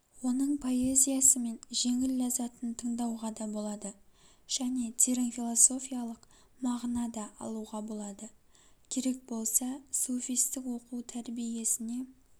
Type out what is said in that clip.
оның поэзиясымен жеңіл ләззатын тыңдауға да болады және терең философиялық мағына да алуға болады керек болса суфистік оқу-тәрбиесіне